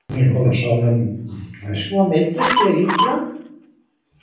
Svo meiddist ég illa.